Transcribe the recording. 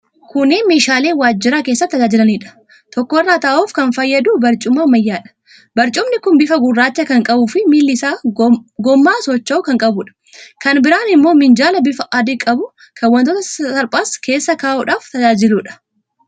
Kunneen meeshaalee waajjira keessatti tajaajilaniidha. Tokko irra taa'uuf kan fayyadu barcuma ammayyaadha. Barcumni kun bifa gurraacha kan qabuufi miilli isaa gommaa socho'u kan qabuudha. Kan biraan immoo minjaala bifa adii qabu kan wantoota sasalphaas keessa kaa'uudhaaf tajaajiluudha.